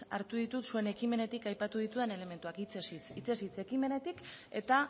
hartu ditut zuen ekimenetik aipatu ditudan elementuak hitzez hitz ekimenetik eta